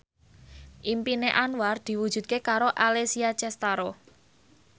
impine Anwar diwujudke karo Alessia Cestaro